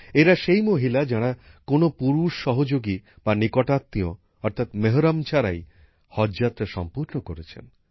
এরা সেই মহিলা যারা কোন পুরুষ সহযোগী বা নিকটাত্মীয় অর্থাৎ মেহরম ছাড়াই হজযাত্রা সম্পূর্ণ করেছেন